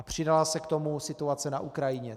A přidala se k tomu situace na Ukrajině.